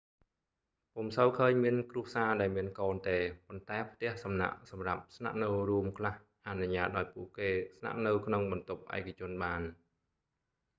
ពុំសូវឃើញមានគ្រួសារដែលមានកូនទេ ប៉ុន្តែផ្ទះសំណាក់សម្រាប់ស្នាក់នៅរួមខ្លះអនុញ្ញាតឱ្យពួកគេស្នាក់នៅក្នុងបន្ទប់ឯកជនបាន